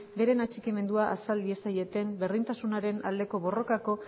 bere atxikimendua azal diezaieten berdintasunaren aldeko borrokako